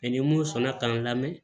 ni mun sɔnna k'an lamɛn